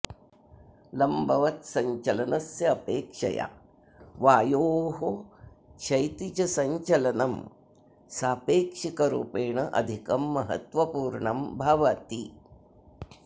लम्बवत् सञ्चलनस्य अपेक्षया वायोः क्षैतिजसञ्चलनं सापेक्षिकरूपेण अधिकं महत्वपूर्णं भवति